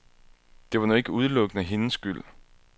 Det var nu ikke udelukkende hendes skyld.